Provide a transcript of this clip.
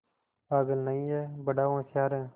पागल नहीं हैं बड़ा होशियार है